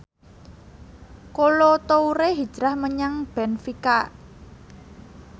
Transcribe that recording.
Kolo Toure hijrah menyang benfica